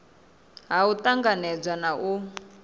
ha u tanganedza na u